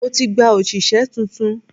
Mo ti gba òṣìṣẹ́ tuntun.